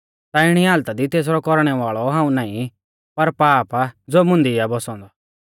ता इणी हालता दी तेसरौ कौरणै वाल़ौ हाऊं नाईं पर पाप आ ज़ो मुंदी आ बौसौ औन्दौ